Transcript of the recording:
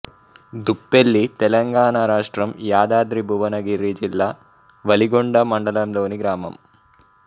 దుప్పెల్లి తెలంగాణ రాష్ట్రం యాదాద్రి భువనగిరి జిల్లా వలిగొండ మండలంలోని గ్రామం